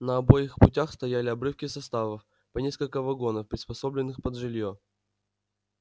на обоих путях стояли обрывки составов по несколько вагонов приспособленных под жилье